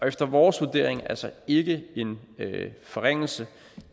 efter vores vurdering altså ikke en forringelse